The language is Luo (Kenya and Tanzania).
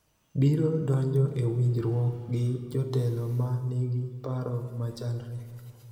biro donjo e winjruok gi jotelo ma nigi paro machalre